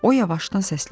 O yavaşdan səsləndi.